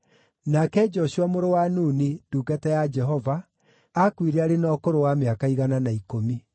Nake Joshua mũrũ wa Nuni, ndungata ya Jehova, aakuire arĩ na ũkũrũ wa mĩaka igana na ikũmi.